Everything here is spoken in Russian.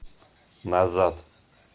назад